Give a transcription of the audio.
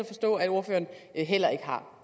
forstå at ordføreren heller ikke har